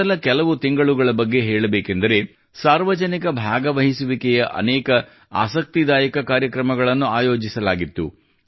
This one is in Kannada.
ಮೊದಲ ಕೆಲವು ತಿಂಗಳುಗಳ ಬಗ್ಗೆ ಹೇಳಬೇಕೆಂದರೆ ಸಾರ್ವಜನಿಕ ಭಾಗವಹಿಸುವಿಕೆಯ ಅನೇಕ ಆಸಕ್ತಿದಾಯಕ ಕಾರ್ಯಕ್ರಮಗಳನ್ನು ಆಯೋಜಿಸಲಾಗಿತ್ತು